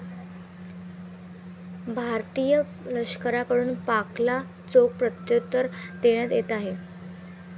भारतीय लष्कराकडून पाकला चोख प्रत्युत्तर देण्यात येत आहे.